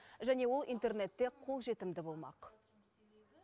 және ол интернетте қолжетімді болмақ